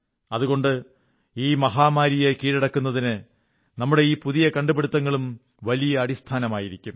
അതുകൊണ്ട് ഈ മഹാമാരിയെ കീഴടക്കുന്നതിന് നമ്മുടെ ഈ പുതിയ കണ്ടുപിടുത്തങ്ങളും വലിയ അടിസ്ഥാനങ്ങളായിരിക്കും